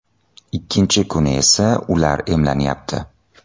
Ikkinchi kuni esa ular emlanyapti.